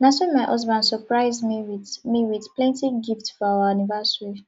na so my husband surprise me wit me wit plenty gift for our anniversary